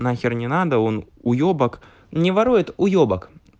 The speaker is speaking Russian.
нахер не надо он уебок не ворует уебок